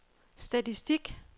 statistik